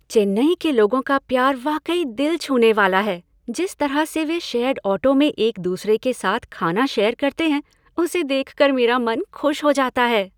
चेन्नई के लोगों का प्यार वाकई दिल छूनेवाला है, जिस तरह से वे शेयर्ड ऑटो में एक दूसरे के साथ खाना शेयर करते हैं उसे देखकर मेरा मन खुश हो जाता है।